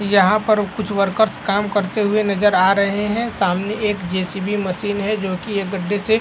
यहाँ पर कुछ वर्कर्स काम करते हुए नजर आ रहे हैं। सामने एक जेसीबी मशीन है जो की एक गड्ढे से --